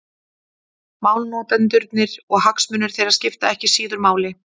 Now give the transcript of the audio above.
Málnotendurnir og hagsmunir þeirra skipta ekki síður máli.